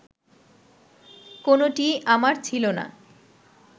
কোনোটিই আমার ছিল না